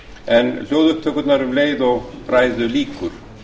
en hljóðupptökurnar um leið og ræðu lýkur